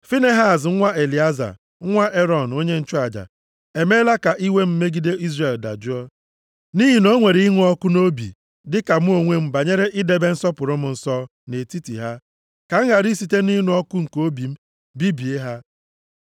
“Finehaz nwa Elieza, nwa Erọn, onye nchụaja, emeela ka iwe m megide Izrel dajụọ. Nʼihi na o nwere ịnụ ọkụ nʼobi dịka mụ onwe m banyere idebe nsọpụrụ m nsọ nʼetiti ha, ka m ghara isite nʼịnụ ọkụ nke obi m bibie ha.